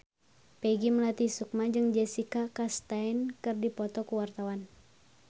Peggy Melati Sukma jeung Jessica Chastain keur dipoto ku wartawan